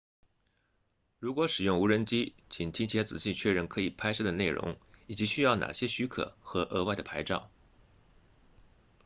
如果使用无人机请提前仔细确认可以拍摄的内容以及需要哪些许可或额外的牌照